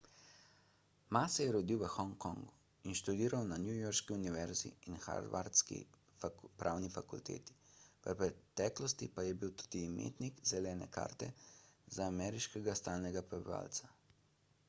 ma se je rodil v hongkongu in študiral na newyorški univerzi in harvardski pravni fakulteti v preteklosti pa je bil tudi imetnik zelene karte za ameriškega stalnega prebivalca